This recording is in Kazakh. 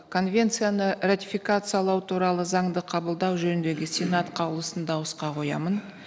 конвенцияны ратификациялау туралы заңды қабылдау жөніндегі сенат қаулысын дауысқа қоямын